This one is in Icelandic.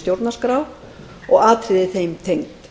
stjórnarskrá og atriði þeim tengd